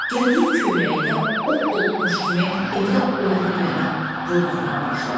Gəldiyi evin köynəyində od dolubmuş kimi evdə o yana bu yana vurnuxmağa başladı.